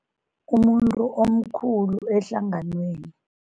Umuntu omkhulu ehlanganweni.